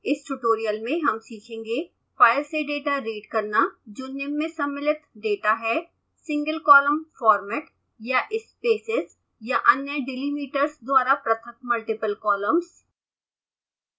इस tutorial में हम सीखेंगे